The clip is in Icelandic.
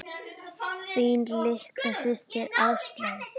Þín litla systir, Áslaug.